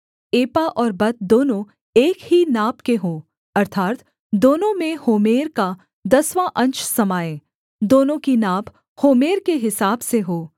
एपा और बत दोनों एक ही नाप के हों अर्थात् दोनों में होमेर का दसवाँ अंश समाए दोनों की नाप होमेर के हिसाब से हो